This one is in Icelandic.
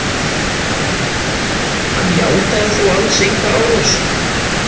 Hann játaði þó alls enga árás